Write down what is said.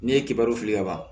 N'i ye kibaru fili kaban